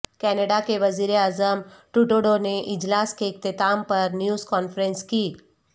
Canada کے وزیراعظم Trudeau نے اجلاس کے اختتام پر نیوز کانفرنس کی